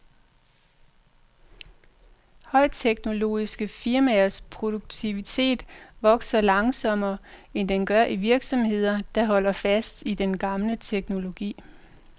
Højteknologiske firmaers produktivitet vokser langsommere, end den gør i virksomheder, der holder fast i den gamle teknologi.